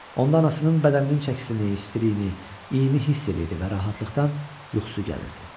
Onda anasının bədəninin çəkisini, istiliyini, iyini hiss eləyirdi və rahatlıqdan yuxusu gəlirdi.